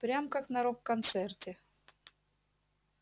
прям как на рок-концерте